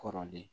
Kɔrɔlen